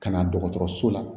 Ka na dɔgɔtɔrɔso la